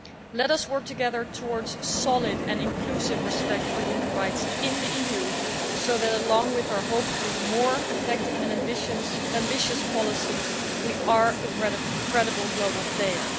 Let us work together towards solid and inclusive respect for human rights in the EU so that, along with our more effective and ambitious policies, we are a credible global player.